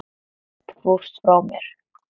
Þú fórst frá mér.